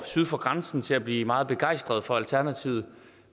syd for grænsen til at blive meget begejstret for alternativet